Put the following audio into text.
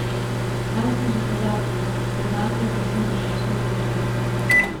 Nanj smo že pozabili, pred nami je povsem drugačna zgodba.